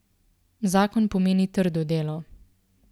Zakon pomeni trdo delo.